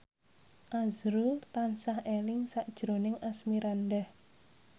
azrul tansah eling sakjroning Asmirandah